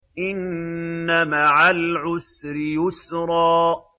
إِنَّ مَعَ الْعُسْرِ يُسْرًا